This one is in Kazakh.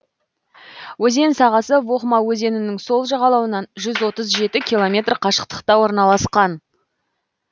өзен сағасы вохма өзенінің сол жағалауынан жүз отыз жеті километр қашықтықта орналасқан